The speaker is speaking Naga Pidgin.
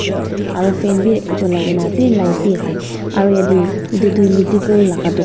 se aro fan bi cholai kae na ase light biase aru yatae edu toh medical laka dukan--